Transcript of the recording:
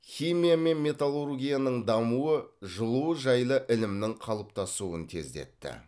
химия мен металлургияның дамуы жылу жайлы ілімнің қалыптасуын тездетті